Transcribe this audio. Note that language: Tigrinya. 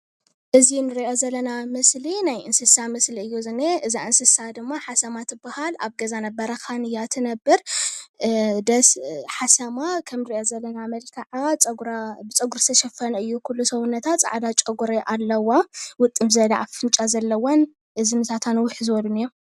እዚ ንሪኦ ዘለና ምስሊ ናይ እንስሳ ምስሊ እዩ ዝኒሀ፡፡ እዛ እንስሳ ድማ ሓሰማ ትበሃል፡፡ ኣብ ገዛን ኣብ በረኻን እያ ትነብር፡፡ ደስ ሓሰማ ከም ንሪኦ ዘለና መልክዓ ፀጉራ ብፀጉሪ ዝተሸፈነ እዩ ኩሉ ሰውነታ፡፡ ፃዕዳ ጨጉሪ ኣለዋ ውጥም ዝበለ ኣፍንጫ ዘለወን እዝኒታታ ንውሕ ዝበሉን እዮም፡፡